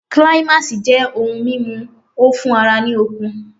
Climax' jẹ́ ohun mímu o fún ara ní okun